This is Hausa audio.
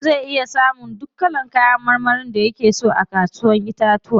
Mutum zai iya samun duk kalan kayan marmarin da yake so a kasuwar Ƴaƴan itatuwa.